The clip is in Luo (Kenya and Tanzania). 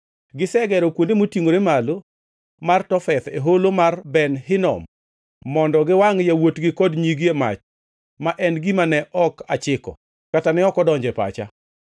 Gisegero kuonde motingʼore malo mar Tofeth e Holo mar Ben Hinom mondo gi wangʼ yawuotgi kod nyigi e mach ma en gima ne ok achiko, kata ne ok odonjo e pacha.